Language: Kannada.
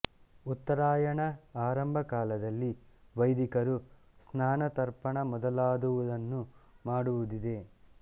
ಉತ್ತರಾಯಣ ಆರಂಭ ಕಾಲದಲ್ಲಿ ವೈದಿಕರು ಸ್ನಾನ ತರ್ಪಣ ಮೊದಲಾದುವನ್ನು ಮಾಡುವುದಿದೆ